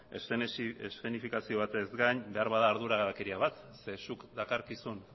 eszenifikazio batez gain beharbada arduragabekeria bat ze zuk dakarkizun